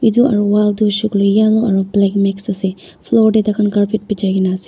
etu aru wall tu aru black mix ase floor te tar khan carpet bechei kina ase.